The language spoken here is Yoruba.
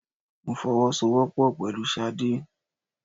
Mo fọwọ́ sọ wọ́pọ̀ pẹ̀lú sade.